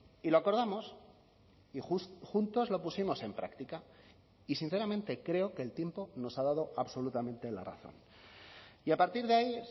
y lo acordamos y juntos lo pusimos en práctica y sinceramente creo que el tiempo nos ha dado absolutamente la razón y a partir de ahí